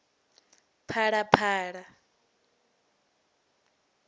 phalaphala